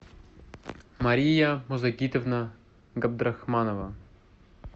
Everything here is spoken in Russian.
мария музагитовна габдрахманова